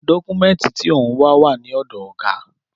Dọ́kúmẹ́ǹtì tí òun wà, wà ní ọ̀dọ̀ ọ̀gá